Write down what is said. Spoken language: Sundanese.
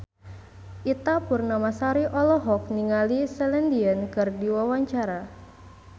Ita Purnamasari olohok ningali Celine Dion keur diwawancara